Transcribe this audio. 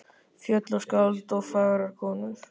Fjöll og skáld og fagrar konur.